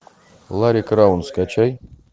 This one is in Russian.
ларри краун скачай